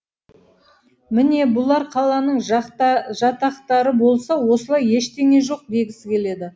міне бұлар қаланың жатақтары болса осылай ештеңе жоқ дегісі келеді